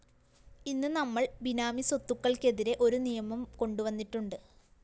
ഇന്ന് നമ്മള്‍ ബിനാമി സ്വത്തുകള്‍ക്കെതിരെ ഒരു നിയമം കൊണ്ടുവന്നിട്ടുണ്ട്